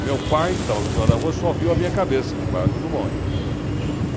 Meu pai, que estava do outro lado da rua, só viu a minha cabeça ali embaixo do bonde.